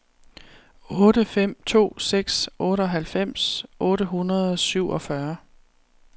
otte fem to seks otteoghalvfems otte hundrede og syvogfyrre